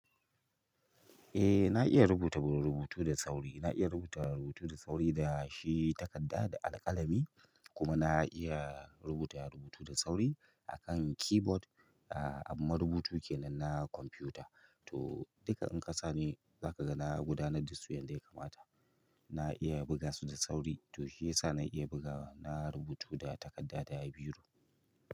Eh na iya rubuta rubutu da sauri, na iya rubuta rubutu da sauri da shi takarda da alƙalami, kuma na iya rubuta rubutu da sauri a kan keyboard, ah ahm ma rubutu kenan na kwamfuta. To duka in kasa ni za ka ga na gudanar da su yadda ya kamata. Na iya buga su da sauri, to shi yasa na iya bugawa, na rubutu da takarda da biro.